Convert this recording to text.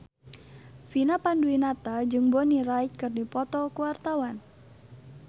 Vina Panduwinata jeung Bonnie Wright keur dipoto ku wartawan